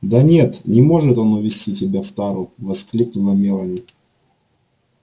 да нет не может он увезти тебя в тару воскликнула мелани